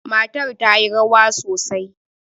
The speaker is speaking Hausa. Matar ta yi rawa sosai.